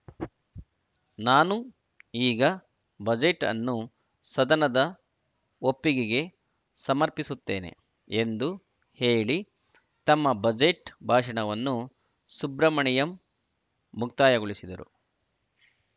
ನಾನು ಈಗ ಬಜೆಟ್‌ ಅನ್ನು ಸದನದ ಒಪ್ಪಿಗೆಗೆ ಸಮರ್ಪಿಸುತ್ತೇನೆ ಎಂದು ಹೇಳಿ ತಮ್ಮ ಬಜೆಟ್‌ ಭಾಷಣವನ್ನು ಸುಬ್ರಮಣಿಯಂ ಮುಕ್ತಾಯಗೊಳಿಸಿರು